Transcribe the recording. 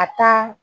A taa